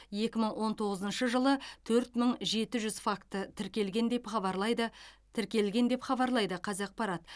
екі мың он тоғызыншы жылы төрт мың жеті жүз факті тіркелген деп хабарлайды тіркелген деп хабарлайды қазақпарат